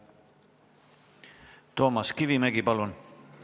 Toomas Kivimägi, palun!